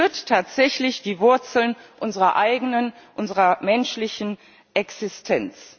Es berührt tatsächlich die Wurzeln unserer eigenen, unserer menschlichen Existenz.